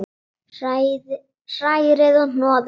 Hrærið og hnoðið.